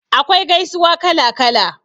Akwai gaisuwa kala kala.